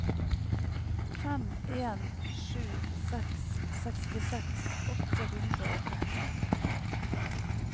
fem en sju seks sekstiseks åtte hundre og tretten